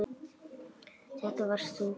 Þetta varst þú.